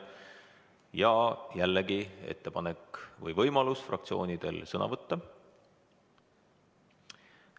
Ja jällegi on võimalus fraktsioonidel sõna võtta.